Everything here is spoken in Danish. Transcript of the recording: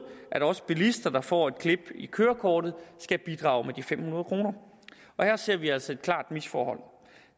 at også bilister der får et klip i kørekortet skal bidrage med de fem hundrede kroner her ser vi altså et klart misforhold